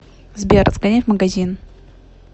сбер сгоняй в магазин